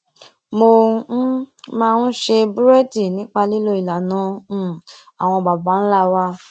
mo um máa ń ṣe búrédì nípa lílo ìlànà um àwọn baba ńlá wa